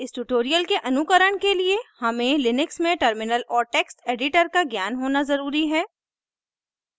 इस ट्यूटोरियल के अनुकरण के लिए हमें लिनक्स में टर्मिनल और टेक्स्ट एडिटर का ज्ञान होना ज़रूरी है